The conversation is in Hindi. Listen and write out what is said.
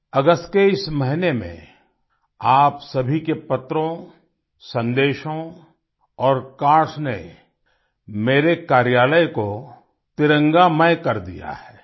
अगस्त के इस महीने में आप सभी के पत्रों संदेशों और कार्ड्स ने मेरे कार्यालय को तिरंगामय कर दिया है